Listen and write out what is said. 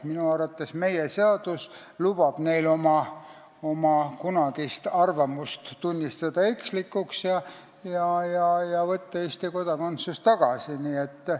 Minu arvates lubab meie seadus neil oma kunagise arvamuse ekslikuks tunnistada ja Eesti kodakondsuse tagasi võtta.